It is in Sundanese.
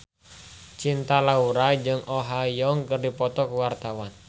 Cinta Laura jeung Oh Ha Young keur dipoto ku wartawan